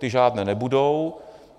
Ty žádné nebudou.